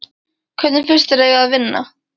Hver finnst þér að eigi að vinna?